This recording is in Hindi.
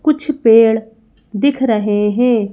कुछ पेड़ दिख रहे हैं।